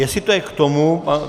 Jestli je to k tomu...